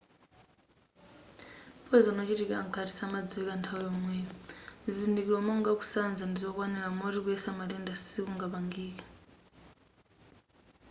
poyizoni wochitikira mkati samadziwika nthawi yomweyo zizindikiro monga ngati kusanza ndizokwanira moti kuyesa matenda sikungapangike